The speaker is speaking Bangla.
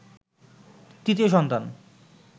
৩য় সন্তান